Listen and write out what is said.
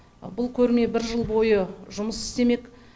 бұл көрме бір жыл бойы жұмыс істемек